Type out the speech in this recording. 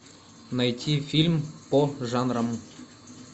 найти фильм по жанрам